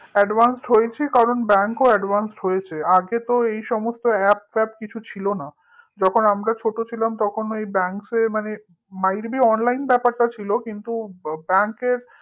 advance হয়েছি কারণ bank ও advance হয়েছে আগে তো এই সমস্ত app ফ্যাপ কিছু ছিল না তখন আমরা ছোট ছিলাম তখন bank এ মানে mightbeonline ব্যাপারটা ছিল কিন্তু bank এর